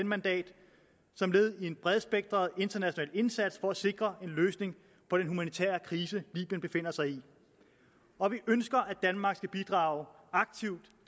mandat som led i en bredspektret international indsats for at sikre en løsning på den humanitære krise libyen befinder sig i og vi ønsker at danmark skal bidrage aktivt